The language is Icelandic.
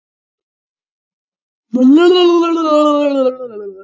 Vaðið nú til lands aftur í Jesú nafni.